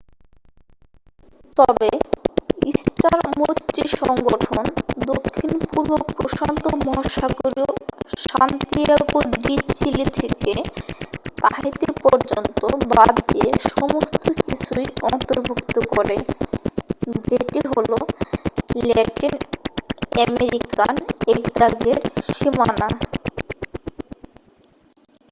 তবে স্টার মৈত্রীসংগঠন দক্ষিণ-পূর্ব প্রশান্ত মহাসাগরীয় সান্তিয়াগো ডি চিলি থেকে তাহিতি পর্যন্ত বাদ দিয়ে সমস্ত কিছুই অন্তর্ভুক্ত করে যেটি হল ল্যাটিন-আমেরিকান একদাগের সীমানা